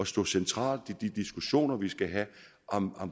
stå centralt i de diskussioner vi skal have om